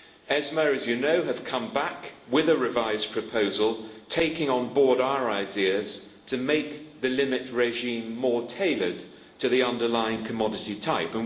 ESMA, as you know, has come back with a revised proposal, taking on board our ideas to make the limit regime more tailored to the underlying commodity type.